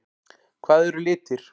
Hvað eru litir?